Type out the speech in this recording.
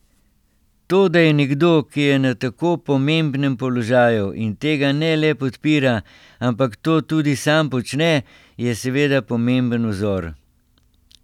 To, da je nekdo, ki je na tako pomembnem položaju, in tega ne le podpira, ampak to tudi sam počne, je seveda pomemben vzor.